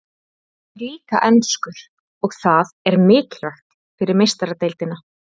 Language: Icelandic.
Hann er líka enskur og það er mikilvægt fyrir Meistaradeildina.